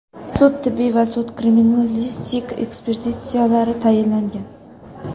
Sud-tibbiy va sud-kriminalistik ekspertizalari tayinlangan.